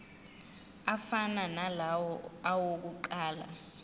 afana nalawo awokuqala